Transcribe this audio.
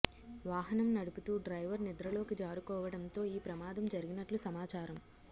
వాహనం నడుపుతూ డ్రైవర్ నిద్రలోకి జారుకోవడంతో ఈ ప్రమాదం జరిగినట్లు సమాచారం